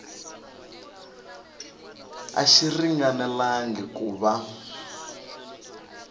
a xi ringanelangi ku va